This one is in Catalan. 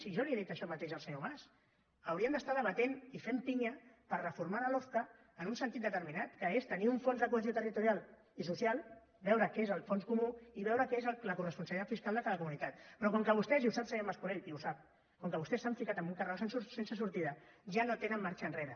si jo li he dit això mateix al senyor mas haurien d’estar debatent i fent pinya per reformar la lofca en un sentit determinat que és tenir un fons de cohesió territorial i social veure què és el fons comú i veure què és la coresponsabilitat fiscal de cada comunitat però com que vostès i ho sap senyor mas colell i ho sap com que vostès s’han ficat en un carreró sense sortida ja no tenen marxa enrere